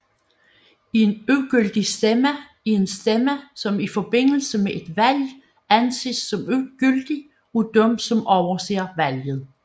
En ugyldig stemme er en stemme som i forbindelse med et valg anses som ugyldig af dem som overser valget